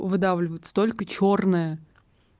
выдавливается только чёрное